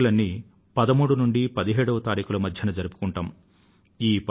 ఈ పండుగలన్నీ 13వ తేదీ నుండి 17వ తేదీల మధ్య జరుపుకొంటాం